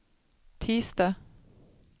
tisdag